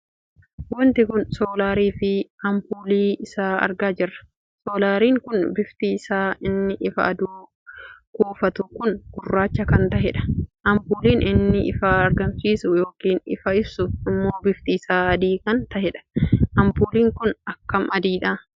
Wanti kun soolariii fi ampuulii isaa argaa jirra. soolariin kun bifti isaa inni ifa aduu kuufatu kun gurraacha kan taheedha. ampuuliin inni ifa argamsiisu ykn ifa ibsu ammoo bifti isaa adii kan taheedha. ampuuliin kun akkam adiidha!